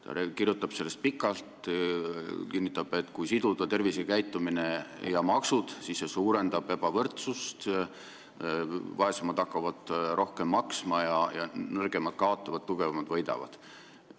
Ta kirjutab sellest pikalt ja kinnitab, et kui siduda tervisekäitumine ja maksud, siis see suurendab ebavõrdsust – vaesemad hakkavad rohkem maksma ja nõrgemad kaotavad, tugevamad võidavad.